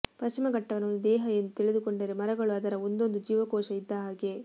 ಪಶ್ಚಿಮಘಟ್ಟವನ್ನು ಒಂದು ದೇಹ ಎಂದು ತಿಳಿದುಕೊಂಡರೆ ಮರಗಳು ಅದರ ಒಂದೊಂದು ಜೀವಕೋಶ ಇದ್ದಹಾಗೆ